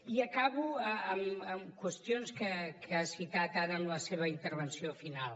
i acabo amb qüestions que ha citat ara en la seva intervenció final